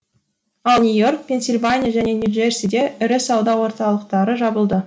ал нью и орк пенсильвания және нью джерсиде ірі сауда орталықтары жабылды